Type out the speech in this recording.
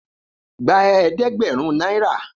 Gba eedegberun naira.